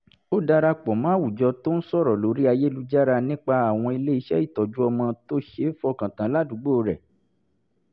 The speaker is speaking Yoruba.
ó dara pọ̀ mọ́ àwùjọ tó ń sọ̀rọ̀ lórí ayélujára nípa àwọn ilé-iṣẹ́ ìtọ́jú ọmọ tó ṣeé fọkàntán ládùúgbò rẹ̀